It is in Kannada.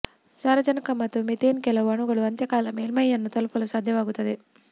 ಸಾರಜನಕ ಮತ್ತು ಮೀಥೇನ್ ಕೆಲವು ಅಣುಗಳು ಅಂತ್ಯಕಾಲ ಮೇಲ್ಮೈಯನ್ನು ತಲುಪಲು ಸಾಧ್ಯವಾಗುತ್ತದೆ